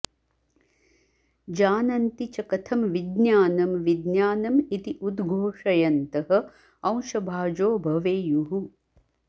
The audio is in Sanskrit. जानन्ति च कथं विज्ञानं विज्ञानम् इति उद्घोषयन्तः अंशभाजो भवेयुः